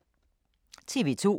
TV 2